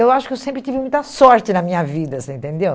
Eu acho que eu sempre tive muita sorte na minha vida, você entendeu?